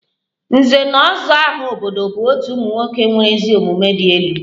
Nze na ozo aha obodo bụ otu ụmụ nwoke nwere ezi omumue di elu